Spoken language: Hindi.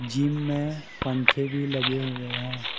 जिम में पंखे भी लगे हुए हैं।